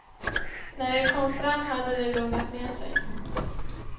När vi kom fram hade det lugnat ner sig.